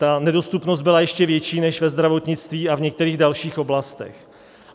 Ta nedostupnost byla ještě větší než ve zdravotnictví a v některých dalších oblastech.